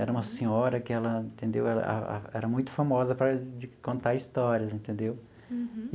Era uma senhora que ela, entendeu, ah era muito famosa por causa de contar histórias, entendeu? Uhum.